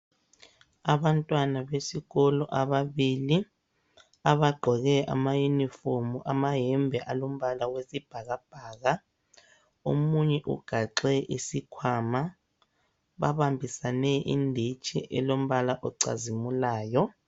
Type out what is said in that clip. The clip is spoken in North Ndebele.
Abantwana besikolo ababili abagqoke amayunifomu, amayembe alombala oyisibhakabhaka omunye ugaxe isikhwama babambisane inditshi elombala ocazimulayo.